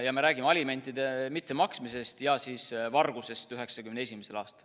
Ja me räägime alimentide mittemaksmisest ja vargusest 1991. aastal.